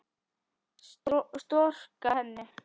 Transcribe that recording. Storka henni.